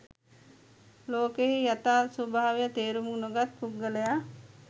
ලෝකයෙහි යථා ස්වභාවය තේරුම් නොගත් පුද්ගලයා